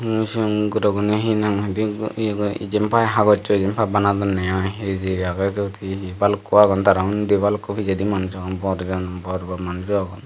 yen sigon guroguney he nang hoidey ye go jempai hagossoi jempai banadonney aai ei jei agey syot he he balukko agon tara undi balukko pijedi manuj agon bor jon bor bor manujo agon.